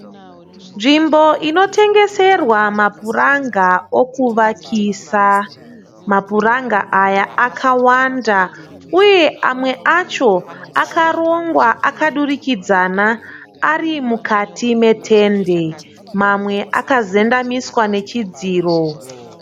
Nzvimbo inotengeserwa mapuranga okuvakisa, mapuranga aya akawanda uye amwe acho akarongwa akadurikidzana arimukati metende mamwe akazendamiswa nechidziro.